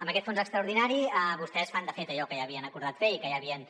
amb aquest fons extraordinari vostès fan de fet allò que ja havien acordat fer i que ja havien